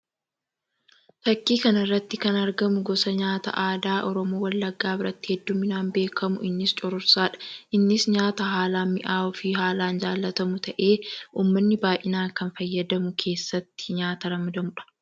Fakkii kana irratti kan argamu gosa nyaataa aadaa Oromoo Wallaggaa biratti hedduuminaan beekamu innis cororsaadha. Innis nyaata haalaan mi'awwuu fi haalaan jaallatamu ta'ee uummanni baayyinaan kan fayyadamu keessatti nyaata ramadamuudha.